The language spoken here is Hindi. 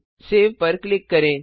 सेव पर क्लिक करें